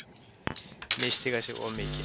Misstíga sig of mikið.